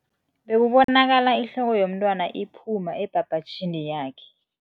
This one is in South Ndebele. Bekubonakala ihloko yomntwana iphuma ebhabhatjhini yakhe.